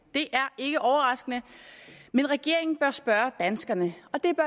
det er ikke overraskende men regeringen bør spørge danskerne